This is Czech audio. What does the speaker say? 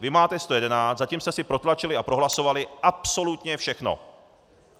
Vy máte 111, zatím jste si protlačili a prohlasovali absolutně všechno.